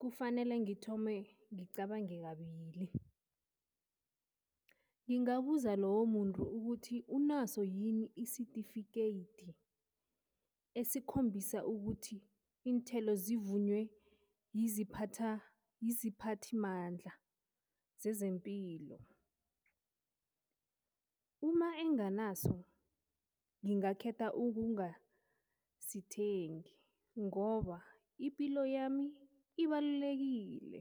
kufanele ngithome ngicabange kabili. Ngingabuza lowo muntu ukuthi unaso yini isitifikeyiti esikhombisa ukuthi iinthelo zivunywe yiziphathimandla zezempilo, uma enganaso ngingakhetha ukungasithengi ngoba ipilo yami ibalulekile.